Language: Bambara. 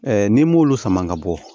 n'i m'olu sama ka bɔ